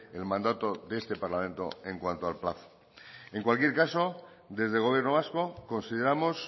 el mandato de este parlamento en cuanto al plazo en cualquier caso desde el gobierno vasco consideramos